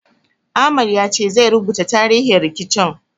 Ahmad ya ce zai rubuta tarihin rikicin.